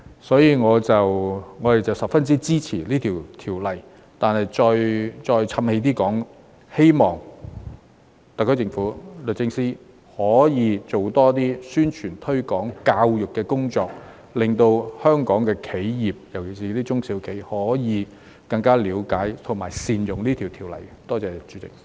所以，我們十分支持《條例草案》，但再"譖氣"地說一句，希望特區政府和律政司可以做多一些宣傳、推廣和教育的工作，令香港的企業，特別是中小企可以更加了解和善用這項條例草案。